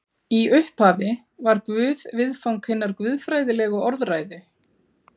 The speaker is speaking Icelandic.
í upphafi var guð viðfang hinnar guðfræðilegu orðræðu